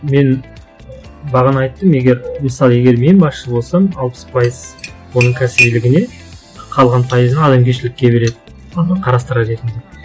мен бағана айттым егер мысалы егер мен басшы болсам алпыс пайыз оның кәсібилігіне қалған пайызын адамгершілікке береді мхм қарастырар едім деп